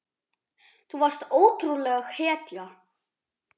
Þú varst ótrúleg hetja.